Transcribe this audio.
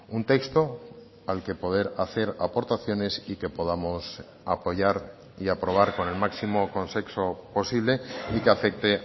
un texto al que poder hacer aportaciones y que podamos apoyar y aprobar con el máximo consenso posible y que afecte